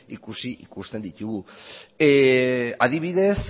ikusi ikusten ditugu adibidez